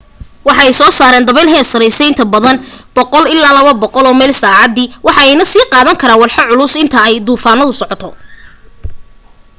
waxa ay soo saaran dabeyl heer sareysa inta badan 100-200 meyl/saacadi waxa ayna sii qaadan karaan walxo culus inta ay duufantu socoto